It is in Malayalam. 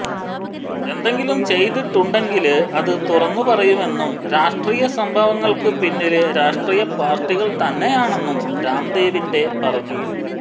എന്തെങ്കിലും ചെയ്തിട്ടുണ്ടെങ്കില് അത് തുറന്നു പറയുമെന്നും രാഷ്ട്രീയ സംഭവങ്ങള്ക്ക് പിന്നില് രാഷ്ട്രീയ പാര്ട്ടികള് തന്നെയാണെന്നും രാംദേവിന്റെ പറഞ്ഞു